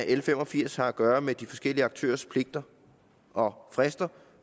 l fem og firs har at gøre med de forskellige aktørers pligter og frister